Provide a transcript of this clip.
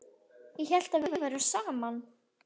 Ég hélt að við værum saman!